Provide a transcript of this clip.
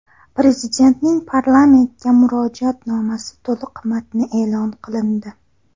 Prezidentning parlamentga murojaatnomasi to‘liq matni e’lon qilindi.